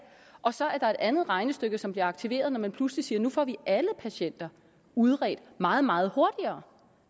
og så er der et andet regnestykke som bliver aktiveret når man pludselig siger at nu får vi alle patienter udredt meget meget hurtigere